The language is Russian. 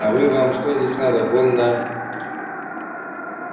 а вы вам что здесь надо вон на